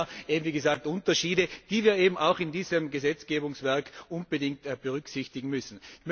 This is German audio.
Es gibt hier Unterschiede, die wir eben auch in diesem Gesetzgebungswerk unbedingt berücksichtigen müssen.